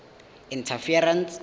interference